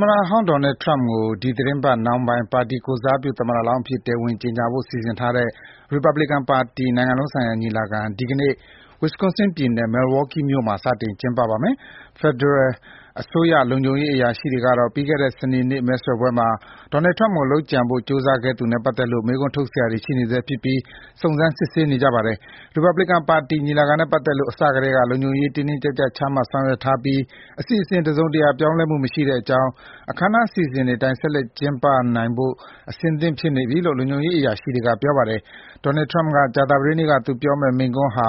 မတဟောင်းဒေါ်နယ်ထရမ့်ကို ဒီသီတင်းပတ် နှောင်းပိုင်း ပါတီကိုယ်စားပြု သမ္မတလောင်းအဖြစ် တရားဝင် ကြေညာဖို့ စီစဉ်ထားတဲ့ ရီပတ်ဘစ်ကန်ပါတီ နိုင်ငံလုံးဆိုင်ရာ ညီလာခံ ဒီနေ့ Wisconsin ပြည်နယ် Milwaukee မြို့မှာ စတင် ကျင်းပပါမယ်။ ဖက်ဒရယ်အစိုးရ လုံခြုံရေး အရာရှိတွေကတော့ ပြီးခဲ့တဲ့ စနေနေ့ မဲဆွယ်ပွဲမှာ ဒေါ်နယ်ထရမ့်ကို လုပ်ကြံဖို့ ကြိုးစားခဲ့သူနဲ့ ပတ်သက်လို့ မေးခွန်းထုတ်စရာတွေ ရှိနေဆဲဖြစ်ပြီး စုံစမ်း စစ်ဆေးနေပါတယ်။ ရီပတ်ဘလစ်ကန်ပါတီ ညီလာခံနဲ့ ပတ်သက်လို့ အစကတည်းက လုံခြုံရေး တင်းတင်းကြပ်ကြပ် ချမှတ်ဆောင်ရွက်ထားပြီး အစီအစဉ် တစုံတရာ ပြောင်းလဲမှု မရှိတဲ့အကြောင်း အခမ်းအနား အစီအစဉ်တွေအတိုင်း ဆက်လက် ကျင်းပနိုင်ဖို့ အဆင့်သင့်ဖြစ်နေပြီလို့ လုံခြုံရေးအရာရှိတွေက ပြောပါတယ်။ ဒေါ်နယ်ထရမ့်က ကြာသပတေးနေ့ သူပြောကြားမယ့် မိန့်ခွန်းဟာ